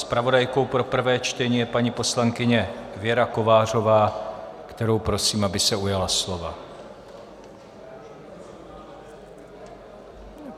Zpravodajkou pro prvé čtení je paní poslankyně Věra Kovářová, kterou prosím, aby se ujala slova.